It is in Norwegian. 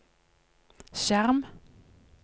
skjerm